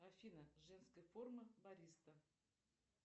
афина женская форма бариста